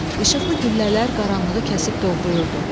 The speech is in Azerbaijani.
işıqlı güllələr qaranlığı kəsib doğrayırdı.